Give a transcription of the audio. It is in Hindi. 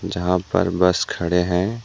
यहां पर बस खड़े हैं।